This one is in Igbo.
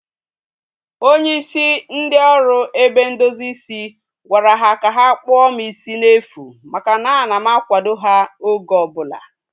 Onye isi ndị oru ebe ndozi isi gwara ha ka ha kpụọ m isi n'efu maka na a na m akwado ha oge ọbụla